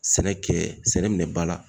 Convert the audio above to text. Sɛnɛ kɛ sɛnɛ minɛn ba la.